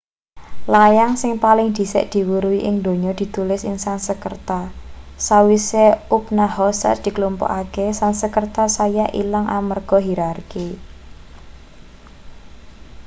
layang sing paling dhisik diweruhi ing donya ditulis ing sansekerta sawise upanoshads diklumpukake sansekerta saya ilang amarga hirarki